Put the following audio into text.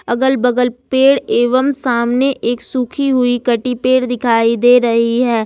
अगल-बगल पेड़ एवं सामने एक सूखी हुई कटी पेड़ दिखाई दे रही है।